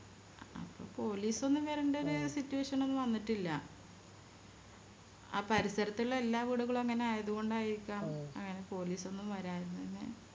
അപ്പോ Police ഒന്നും വരണ്ടൊരു Situation ഒന്നും വന്നിട്ടില്ല ആ പരിസരത്തുള്ള എല്ലാ വീടുകളും അങ്ങനെ ആയതുകൊണ്ടായിരിക്കാം അങ്ങനെ Police ഒന്നും വരഞ്ഞെ